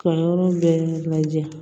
Ka yɔrɔ bɛɛ lajɛ